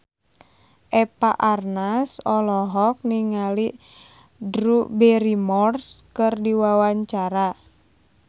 Eva Arnaz olohok ningali Drew Barrymore keur diwawancara